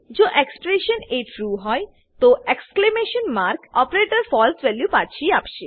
જો એક્સપ્રેશન એ ટ્રૂ હોય તો exclamation mark operator false value પાછી આપશે